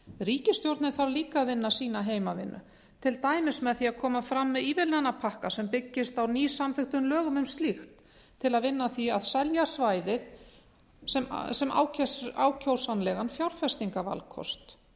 ríkisstjórnin þarf líka að vinna sína heimavinnu til dæmis með því að koma fram með ívilnanapakka sem byggist á nýsamþykktum lögum um slíkt til að vinna að því að selja svæðið sem ákjósanlegan fjárfestingarvalkost